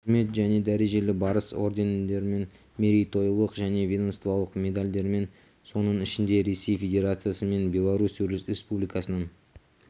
құрмет және дәрежелі барыс ордендерімен мерейтойлық және ведомстволық медальдармен соның ішінде ресей федерациясы мен беларусь республикасының